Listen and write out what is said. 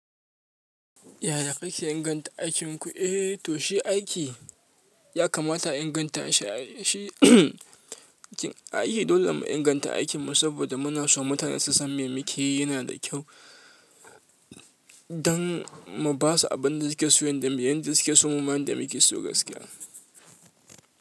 Yaya ka ke inganta aikinku? Eh, to shi aiki. Ya kamata a inganta shi ai, shi aiki dole mu inganta aikinmu saboda muna so mutane su san me mu ke yi yana da kyau, don mu basu abin da su ke so, yanda su ke so mu ma yanda mu ke so gaskiya.